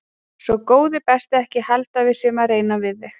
Sko góði besti ekki halda að við séum að reyna við þig.